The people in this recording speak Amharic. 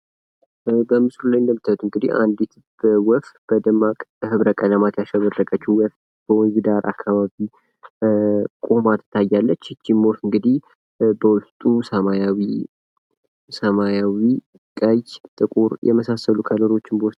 ከላይ በምስሉ ላይ እንደምታዩት እንግዲህ አንዲት ወፍ በደማቅ ህብረ ቀለማት ያሸበረቀች ወፍ ወንዝ ዳር አካባቢ ቁማ ትታያለች እንግዲህ በውስጧ ሰማያዊ ፥ ቀይ ፥ ጥቁር የመሳሰሉ ቀለሞችን በውስጡ ይዛለች።